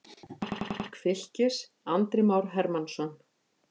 Mark Fylkis: Andri Már Hermannsson.